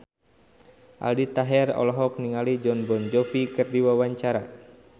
Aldi Taher olohok ningali Jon Bon Jovi keur diwawancara